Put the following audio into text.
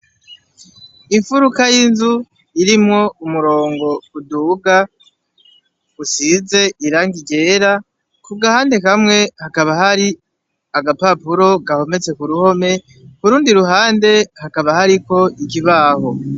Imfuruka y'inzu irimwo umurongo kuduga usize iranga ijera ku gahande kamwe hakaba hari agapapuro gahometse ku ruhome kurundi ruhande hakaba hariko ikibaho.